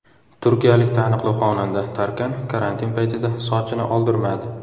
Turkiyalik taniqli xonanda Tarkan karantin paytida sochini oldirmadi.